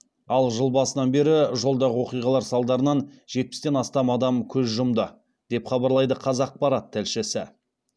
ал жыл басынан бері жолдағы оқиғалар салдарынан жетпістен астам адам көз жұмды деп хабарлайды қазақпарат тілшісі